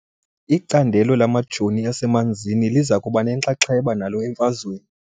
Icandelo lamajoo asemanzini liza kuba nenxaxheba nalo emfazweni .